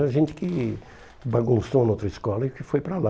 Era gente que bagunçou na outra escola e que foi para lá.